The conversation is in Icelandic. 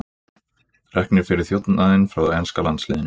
Reknir fyrir þjófnað frá enska landsliðinu